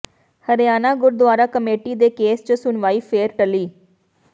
Haryana Gurdwara committee ਦੇ case ਚ ਸੁਣਵਾਈ ਫੇਰ ਟਲੀ